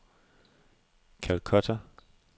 Calcutta